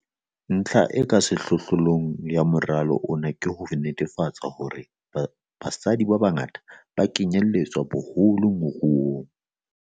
Ntlha e ka sehlohlolong ya moralo ona ke ho netefatsa hore basadi ba bangata ba kenyeletswa boholo mo moruo.